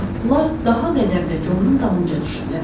Atlılar daha qəzəblə Conun dalınca düşdülər.